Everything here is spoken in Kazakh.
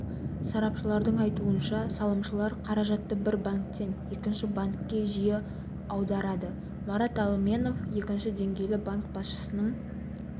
сарапшылардың айтуынша салымшылар қаражатты бір банктен екінші банкке жиі аударады марат алменов екінші деңгейлі банк басшысының